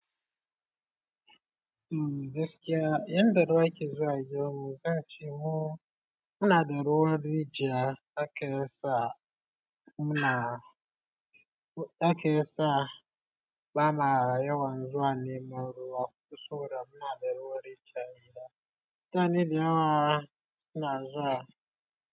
Uhm gaskiya, yanda dai ake zuwa gidan mu, zan ce mu muna da ruwa waje ake sa muna ake sa bama yawan zuwa ne muyi ruwa kusa da muna da ruwan rijiya a gida. Mutane da yawa suna zuwa.